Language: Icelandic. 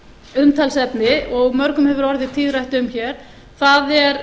umtalsefni og mörgum hefur orðið tíðrætt um hér það er